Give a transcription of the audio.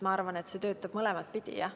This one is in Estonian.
Ma arvan, et see töötab mõlemat pidi.